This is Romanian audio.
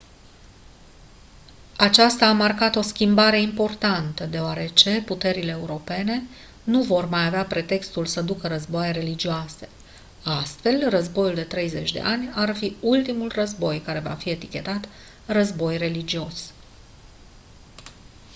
aceasta a marcat o schimbare importantă deoarece puterile europene nu vor mai avea pretextul să ducă războaie religioase astfel războiul de 30 de ani ar fi ultimul război care va fi etichetat război religios